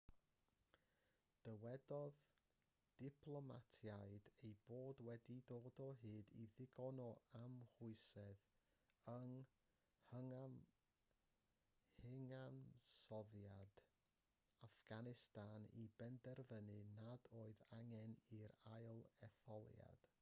dywedodd diplomatiaid eu bod wedi dod o hyd i ddigon o amwysedd yng nghyfansoddiad affganistan i benderfynu nad oedd angen yr ail-etholiad